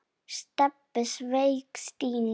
Stebbi sveik Stínu.